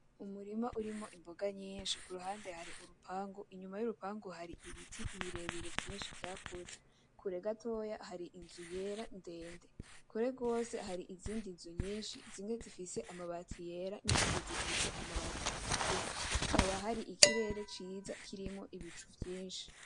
Umurima urimwo imboga nyinshi kuruhande hari urupangu inyuma y’urupangu hari ibiti birebire vyinshi vyakuze. Kure gatoya hari inzu yera ndende. Kure gwose hari izindi nzu nyinshi zimwe zifise amabati yera n’izindi zifise amabati atukura hakaba hari ikirere ciza kirimwo ibicu vyinshi.